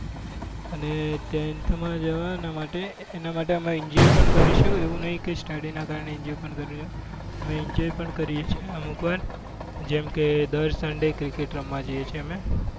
અને તેથમાં જવા માટે એના માટે enjoy પણ કરીશું એવું નહીં કે study ના કારણે enjoy પણ કરી ના શકીએ. અમે enjoy પણ કરીએ છીએ અમુક વાર જેમ કે અમે દર sunday cricket રમવા જઈએ છીએ અમે.